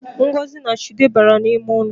Ngozi na Chude bara n’ime ụlọ